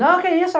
Não, que isso.